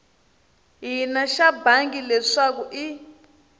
hina xa bangi leswaku i